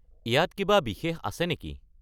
ইয়াত কিবা বিশেষ আছে নেকি?